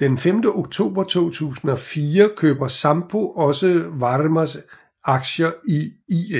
Den 5 oktober 2004 køber Sampo også Varmas aktier i